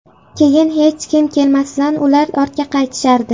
Keyin hech kim kelmasidan ular ortga qaytishardi.